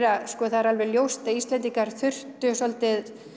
það er alveg ljóst að Íslendingar þurftu svolítið